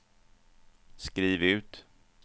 skriv ut